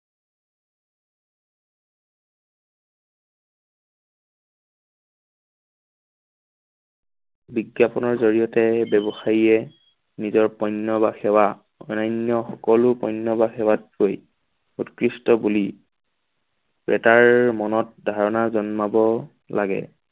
বিজ্ঞাপনৰ জড়িয়তে ব্যৱসায়িয়ে নিজৰ পুণ্য বা সেৱা অন্যান্য সকলো পুণ্য বা সেৱাত কৈ উৎকৃষ্ট বুলি মনত ধাৰণা জন্মাব লাগে।